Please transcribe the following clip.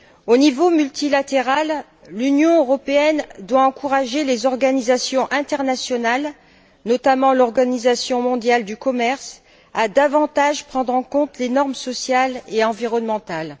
Au niveau multilatéral, l'Union européenne doit encourager les organisations internationales, notamment l'Organisation mondiale du commerce, à davantage prendre en compte les normes sociales et environnementales.